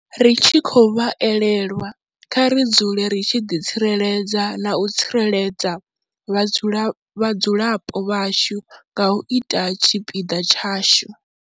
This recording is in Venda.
Ri tshi khou vha elelwa, kha ri dzule ri tshi ḓitsireledza na u tsireledza vhadzulapo vhashu nga u ita tshipiḓa tshashu.